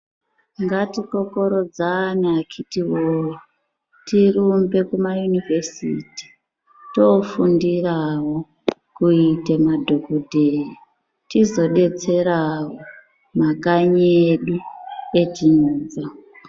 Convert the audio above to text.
Ngatikokorodzane akhiti woye tirumbe kumayunivhesiti toofundirawo kuite madhokodheya tizodetserawo makanyi edu etinobva.